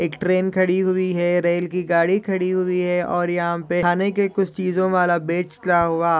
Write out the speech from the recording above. एक ट्रेन खड़ी हुई है रेल की गाड़ी खड़ी हुई है और यहाँ पे खाने के कुछ चीजों वाला बेचता हुआ--